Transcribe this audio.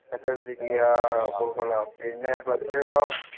S S L C ക്ക് ആ കൊള്ളാം പിന്നെ പ്ലസ് ടുനോ ?